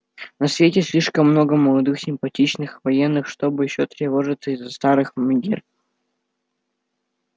на свете слишком много молодых симпатичных военных чтобы ещё тревожиться из-за старых мегер